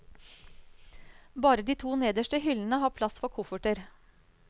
Bare de to nederste hyllene har plass for kofferter.